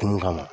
Tun kama